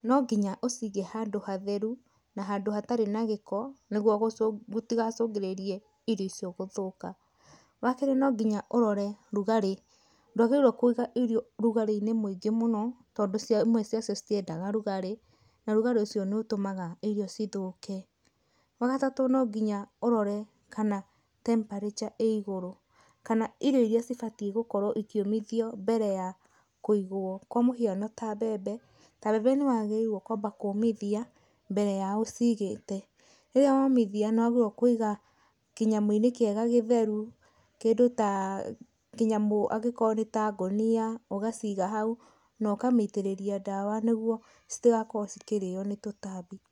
No nginya ũcige handũ hatheru na handũ hatarĩ na gĩko, nĩguo gũtigacũngĩrĩrie irio icio gũthũka. Wa kerĩ no nginya ũrore rugarĩ, ndwagĩrĩirwo kũiga irio rugarĩ-inĩ muingĩ mũno, tondũ imwe ciacio citiendaga rugarĩ, na rugarĩ ũcio nĩ ũtũmaga irio cithũke. Wa gatatũ no nginya ũrore kana temperature ĩ igũrũ. Kana irio iria cibatie gũkorwo ikĩũmithio mbere ya kũigwo, kwa mũhiano ta mbembe, ta mbembe nĩ wagĩrĩirwo kwamba kũmithia mbere ya ũcigĩte. Rĩrĩa womithia, nĩ wagĩrĩirwo kuiga kĩnyamũ-inĩ kĩega gĩtheru, kĩndũ ta, kĩnyamo angĩkorwo nĩ ta ngũnia ũgaciga hau na ũkamĩitĩrĩria ndawa nĩguo citigakorwo cikĩrĩo nĩ tũtambi.